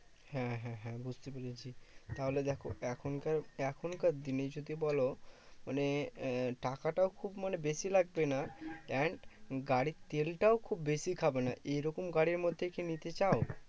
হ্যাঁ হ্যাঁ হ্যাঁ বুঝতে পেরেছি। তাহলে দেখো এখনকার এখনকার দিনে যদি বলো মানে আহ টাকাটাও খুব মানে বেশি লাগবে না, and গাড়ির তেল টাও খুব বেশি খাবে না। এইরকম গাড়ির মধ্যে কি নিতে চাও?